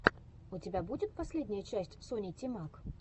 у тебя будет последняя часть сони тимак